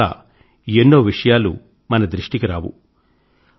అందువల్ల ఎన్నో విషయాలు మన దృష్టికి రావు